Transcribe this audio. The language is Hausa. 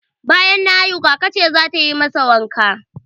Banyan na haihu, kaka ce zata yi masa wanka